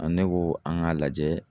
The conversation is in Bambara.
ne ko an ŋ'a lajɛ